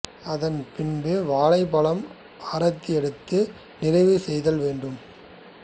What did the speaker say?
அதன் பின் வாழைப்பழம் ஆரத்தி எடுத்து நிறைவு செய்தல் வேண்டும்